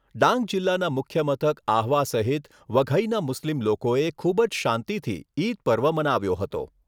ડાંગ જિલ્લાના મુખ્ય મથક આહવા સહિત વઘઈના મુસ્લિમ લોકોએ ખૂબ જ શાંતિથી ઈદ પર્વ મનાવ્યો હતો.